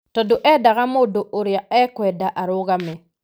tondũ endaga mũndũ ũrĩa ekwenda arũgame.